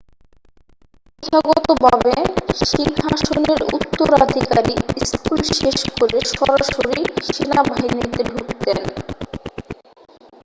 প্রথাগতভাবে সিংহাসনের উত্তরাধিকারী স্কুল শেষ করে সরাসরি সেনাবাহিনীতে ঢুকতেন